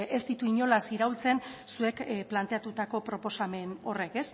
ez ditu inolaz iraultzen zuek planteatutako proposamen horrek